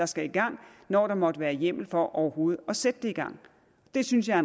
skal i gang når der måtte være hjemmel for overhovedet at sætte det i gang det synes jeg